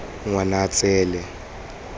ngwanatseele